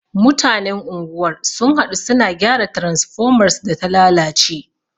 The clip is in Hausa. Mutanen unguwar sun haɗu, su na gyara transfomar su da ta lalace.